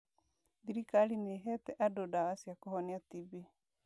Thirikari nĩ ĩheete andũ ndawa cia kũhonia TB.